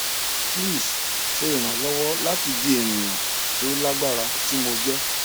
pls ṣe iranlọwọ lati di eniyan ti o lagbara ti mo jẹ